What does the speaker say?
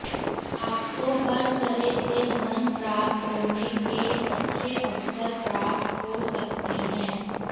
आपको हर तरह से धन प्राप्त होने के अच्छे अवसर प्राप्त हो सकते हैं